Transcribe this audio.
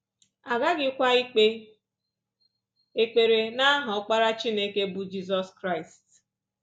A ghaghịkwa ikpe ekpere n’aha Ọkpara Chineke, bụ́ Jizọs Kraịst